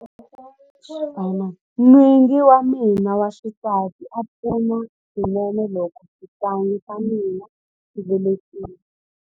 N'wingi wa mina wa xisati a pfuna swinene loko xihlangi xa hina xi velekiwa.